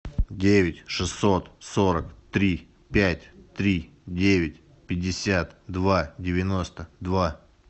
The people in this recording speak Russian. девять шестьсот сорок три пять три девять пятьдесят два девяносто два